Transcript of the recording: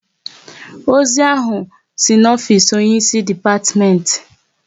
Ozi ahụ si n'ofisi onye ịsị depatiment